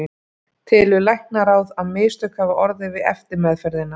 Telur læknaráð, að mistök hafi orðið við eftirmeðferðina?